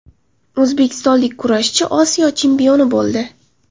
O‘zbekistonlik kurashchi Osiyo chempioni bo‘ldi.